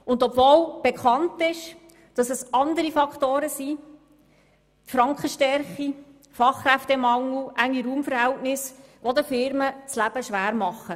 Es ist bekannt, dass es andere Faktoren wie Frankenschwäche, Fachkräftemangel und enge Raumverhältnisse sind, die den Firmen das Leben schwer machen.